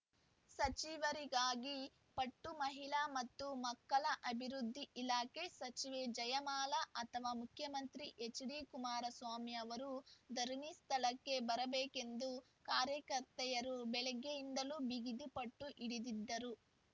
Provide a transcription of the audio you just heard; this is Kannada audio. ಸಚಿವರಿಗಾಗಿ ಪಟ್ಟು ಮಹಿಳಾ ಮತ್ತು ಮಕ್ಕಳ ಅಭಿವೃದ್ಧಿ ಇಲಾಖೆ ಸಚಿವೆ ಜಯಮಾಲಾ ಅಥವಾ ಮುಖ್ಯಮಂತ್ರಿ ಎಚ್‌ಡಿಕುಮಾರಸ್ವಾಮಿ ಅವರು ಧರಣಿ ಸ್ಥಳಕ್ಕೆ ಬರಬೇಕೆಂದು ಕಾರ್ಯಕರ್ತೆಯರು ಬೆಳಗ್ಗೆಯಿಂದಲೂ ಬಿಗಿದು ಪಟ್ಟು ಹಿಡಿದರು